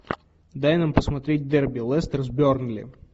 дай нам посмотреть дерби лестер с бернли